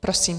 Prosím.